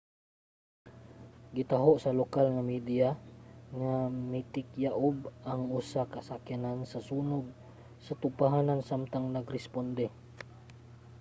gitaho sa lokal nga media nga mitikyaob ang usa ka sakyanan sa sunog sa tugpahanan samtang nag-responde